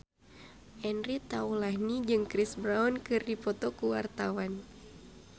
Andre Taulany jeung Chris Brown keur dipoto ku wartawan